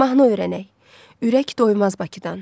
Mahnı öyrənək: Ürək doymaz Bakıdan.